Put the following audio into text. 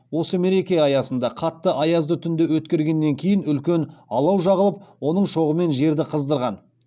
осы мереке аясында қатты аязды түнді өткергеннен кейін үлкен алау жағылып оның шоғымен жерді қыздырған